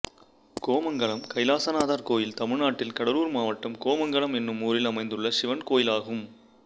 கோமங்கலம் கைலாசநாதர் கோயில் தமிழ்நாட்டில் கடலூர் மாவட்டம் கோமங்கலம் என்னும் ஊரில் அமைந்துள்ள சிவன் கோயிலாகும்